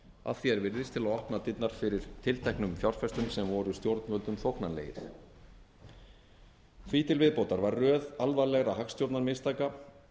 að því er virðist til að opna dyrnar fyrir tilteknum fjárfestum sem voru stjórnvöldum þóknanlegir því til viðbótar var röð alvarlegra hagstjórnarmistaka